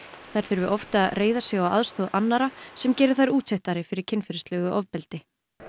þær þurfi oft að reiða sig á aðstoð annarra sem geri þær útsettari fyrir kynferðislegu ofbeldi